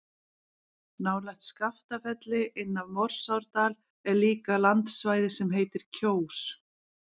Nálægt Skaftafelli, inn af Morsárdal er líka landsvæði sem heitir Kjós.